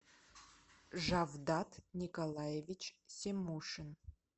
жавдат николаевич симушин